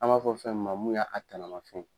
An b'a fɔ fɛn mu ma mun y'a a tanamafɛn